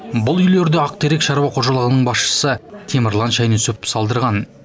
бұл үйлерді ақтерек шаруа қожалығының басшысы темірлан шайнүсіпов салдырған